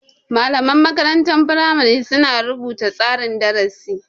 Malaman makarantar firamari su na rubuta tsarin darasi